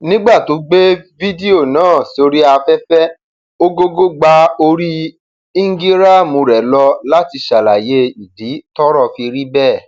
nígbà tó gbé fídíò náà sórí afẹfẹ ogógó gba orí íńgíráàmù rẹ lọ láti ṣàlàyé ìdí tọrọ fi rí bẹẹ